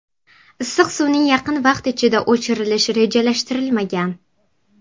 Issiq suvning yaqin vaqt ichida o‘chirilish rejalashtirilmagan.